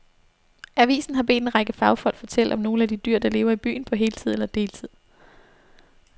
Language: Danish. Avisen har bedt en række fagfolk fortælle om nogle af de dyr, der lever i byen på heltid eller deltid.